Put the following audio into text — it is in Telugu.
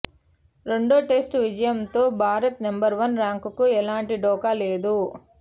రెండో టెస్టు విజయంతో భారత్ నెంబర్ వన్ ర్యాంకుకు ఎలాంటి ఢోకా లేదు